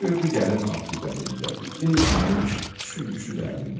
Gördü gəlin at üzərindədir, geyinmiş, süngüsü də əlində.